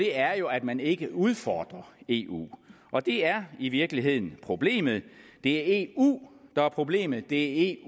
er jo at man ikke udfordrer eu og det er i virkeligheden problemet det er eu der er problemet det